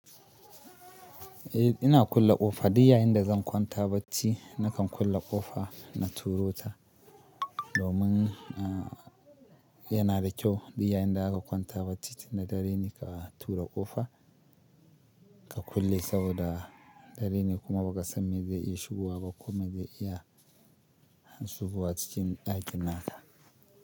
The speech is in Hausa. Eh ina kulle kofa duk yayin da zan kwanta barci, nakan kulle kofa na turo ta. Domin yana da kyau duk yayinda aka kwanta bacci na dare ne ka tura ƙofa ka kulle saboda dare ne kuma ba ka san me zai yi shigowa ba kome zai iya shigowa cikin ɗakin naka.